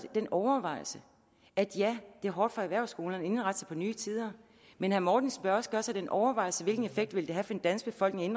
den overvejelse at ja det er hårdt for erhvervsskolerne at indrette sig på nye tider men herre mortensen bør også gøre sig den overvejelse hvilken effekt det ville have for den danske befolkning